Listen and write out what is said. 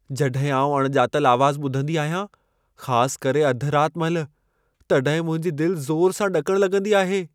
जॾहिं आउं अणॼातल आवाज़ ॿुधंदी आहियां, ख़ास करे अधु रात महिल, तॾहिं मुंहिंजी दिलि ज़ोर सां ॾकणु लॻंदी आहे।